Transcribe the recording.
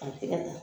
A tɛgɛ la